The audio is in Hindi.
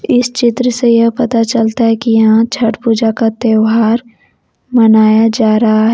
इस चित्र से यह पता चलता है कि यहां छठ पूजा का त्यौहार मनाया जा रहा है।